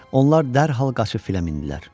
Onlar dərhal qaçıb filə mindilər.